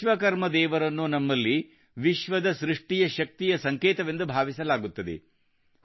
ವಿಶ್ವಕರ್ಮ ದೇವರನ್ನು ನಮ್ಮಲ್ಲಿ ವಿಶ್ವದ ಸೃಷ್ಟಿಯ ಶಕ್ತಿಯ ಸಂಕೇತವೆಂದು ಭಾವಿಸಲಾಗುತ್ತದೆ